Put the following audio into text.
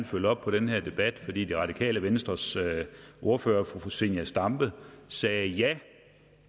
følge op på den her debat fordi det radikale venstres ordfører fru zenia stampe sagde at ja